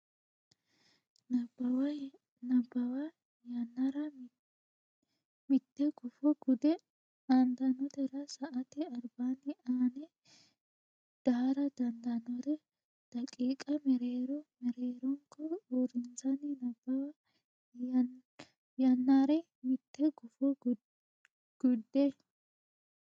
Nabbawa yannara mitte gufo gudde aantannotera sa ate albaanni aane daara dandaannore daqiiqa mereero merreeronko uurrissanni Nabbawa yannara mitte gufo gudde.